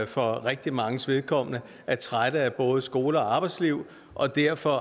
for rigtig manges vedkommende er trætte af både skole og arbejdsliv og derfor